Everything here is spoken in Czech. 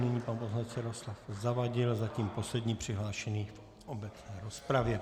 Nyní pan poslanec Jaroslav Zavadil, zatím poslední přihlášený v obecné rozpravě.